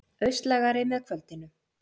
Austlægari með kvöldinu